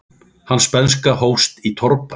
Hans bernska hófst í torfbæ.